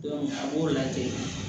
a b'o lajɛ